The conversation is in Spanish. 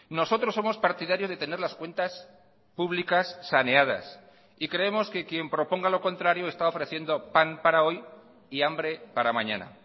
nosotros somos partidarios de tener las cuentas públicas saneadas y creemos que quien proponga lo contrario está ofreciendo pan para hoy y hambre para mañana